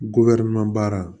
baara